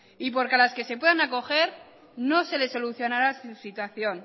y porque a las que se puedan acoger no se le solucionará su situación